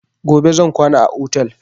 Gobe zan kwana a otel